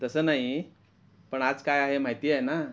तस नाही पण आज काय आहे माहिती आहे ना?